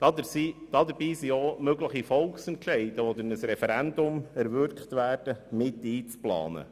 Dabei sind auch mögliche Volksentscheide, die durch ein Referendum erwirkt werden, mit einzuplanen.